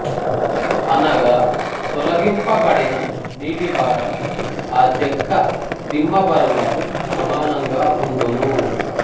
అనగా తొలగింపబడిన నీటిభారం ఆ చెక్క దిమ్మ బరువుకు సమానంగా ఉండును